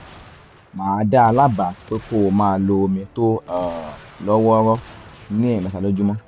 màá dá a lábàá pé kó máa lo omi tó um lọ́ wọ́ọ́rọ́ ní ẹ̀ẹ̀mẹta lójúmọ́